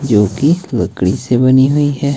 जोकि लकड़ी से बनी हुई है।